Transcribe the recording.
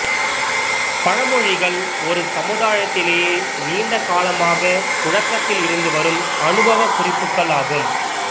பழமொழிகள் ஒரு சமுதாயத்திலே நீண்ட காலமாகப் புழக்கத்தில் இருந்து வரும் அனுபவக் குறிப்புகள் ஆகும்